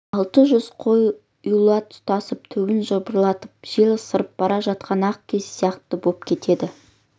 алты жүз қой ұйлыға тұтасып түгін жыбырлатып жел ысырып бара жатқан ақ киіз сияқты боп кетеді